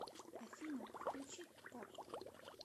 афина включить поп